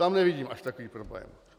Tam nevidím až takový problém.